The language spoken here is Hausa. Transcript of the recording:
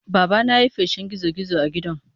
Babana ya yi feshin gizo-gizo a gidan.